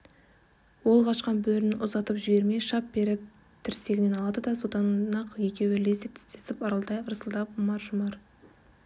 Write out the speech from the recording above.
ол қашқан бөріні ұзатып жібермей шап беріп тірсегінен алады содан-ақ екеуі лезде тістесіп ырылдай ырсылдап ұмар-жұмар